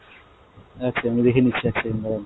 আচ্ছা আমি দেখে নিচ্ছি এক second দাড়ান।